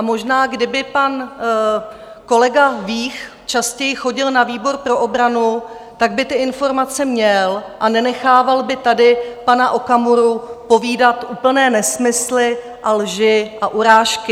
A možná kdyby pan kolega Vích častěji chodil na výbor pro obranu, tak by ty informace měl a nenechával by tady pana Okamuru povídat úplné nesmysly a lži a urážky.